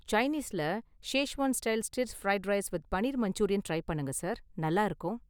சைனீஸ்ல Schezwan style stir fried rice with paneer Manchurian try பண்ணுங்க sir, நல்லா இருக்கும்.